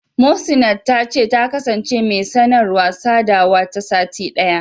Muhsinat ta ce, ta kasance mai sanarwa/sadawa ta sati ɗaya.